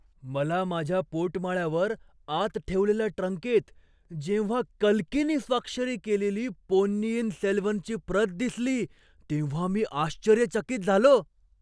मला माझ्या पोटमाळ्यावर आत ठेवलेल्या ट्रंकेत जेव्हा कल्कीनी स्वाक्षरी केलेली पोन्नियिन सेल्वनची प्रत दिसली तेव्हा मी आश्चर्यचकित झालो!